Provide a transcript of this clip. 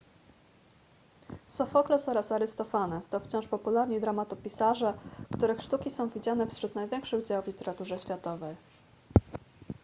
sofokles oraz arystofanes to wciąż popularni dramatopisarze których sztuki są widziane wśród największych dzieł w literaturze światowej